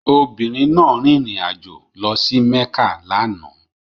Obìnrin náà rìnrìn àjò lọ sí Mekka lánàá